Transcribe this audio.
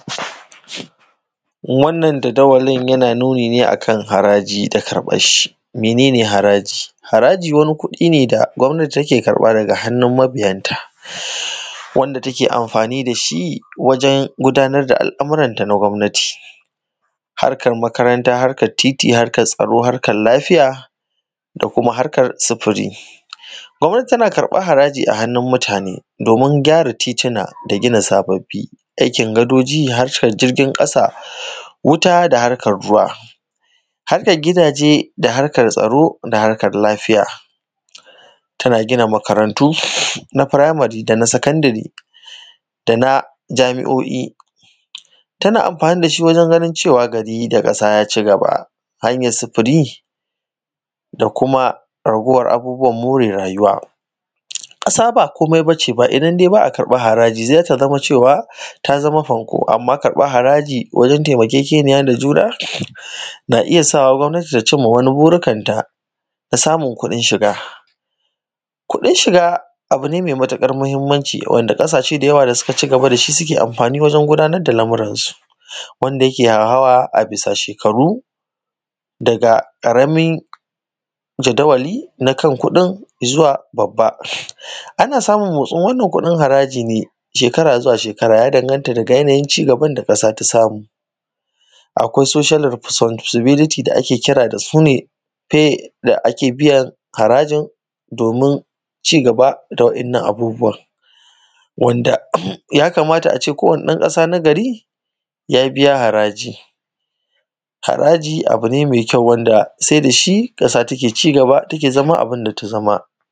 Wannan jadawalin yana nuni akan haraji da karɓan shi, mene ne haraji? haraji wani kuɗi da gwamnati take karɓa daga hannun mabiyan ta wanda take amfani da shi wajen gudanar da al’amuran ta na gwamnati harkar makaranta harkar titi harkar tsaro harkar lafiya da kuma harkar sufuri gwamnati tana karɓar haraji a hannun mutane domin gyara titina da gina sababbi aikin gadoji harkar jirgin ƙasa wuta da harkar ruwa harkar gidaje da harkar tsaro da harkar lafiya tana gina makarantu na primary da na secondary da na jami’o’i tana amfani da shi wajen ganin cewa gari da ƙasa ya cigaba hanyar sufuri da kuma raguwar abubuwan more rayuwa ƙasa ba komai bace ba idan dai ba a ƙarɓan haraji zata zama cewa ta zama fanko amma ƙarɓan haraji wajen taimakekeniya da juna na iya sawa gwamnati ta cimma wani burikanta na samun kuɗin shiga kuɗin shiga abu ne mai matuƙar muhimmanci wanda ƙasashe da suka cigaba da shi suke amfani wajen gudanar da lamuransu wanda yake hauhawa a bisa shekaru daga ƙaramin jadawali na kan kuɗin zuwa babba ana samun motsin wannan kuɗin harajin ne shekara zuwa shekara ya danganta daga yanayin cigaban da ƙasa ta samu akwai social responsibility da ake kira dasu ne pay da ake biyan harajin domin cigaba da waɗannan abubuwa wanda ya kamata ace kowanni ɗan ƙasa nagari ya biya haraji, haraji abu ne mai kyau wanda sai da shi ƙasa ta ke cigaba take zama abun